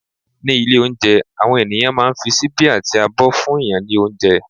ní ilé olounje, awọn ènìyàn ma n fi síbi ati àbọ fún yan ni ounjẹ